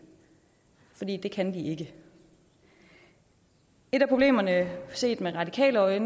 fordi det kan vi ikke et af problemerne set med radikale øje